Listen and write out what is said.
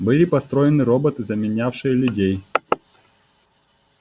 были построены роботы заменявшие людей